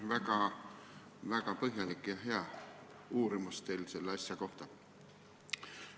Tõesti väga põhjalik ja hea ettekanne teil selle asja kohta!